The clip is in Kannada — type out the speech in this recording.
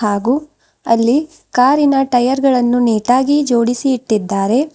ಹಾಗು ಅಲ್ಲಿ ಕಾರಿನ ಟೈಯರ್ ಗಳನ್ನು ನೀಟಾಗಿ ಜೋಡಿಸಿ ಇಟ್ಟಿದ್ದಾರೆ.